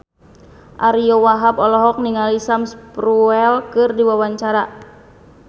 Ariyo Wahab olohok ningali Sam Spruell keur diwawancara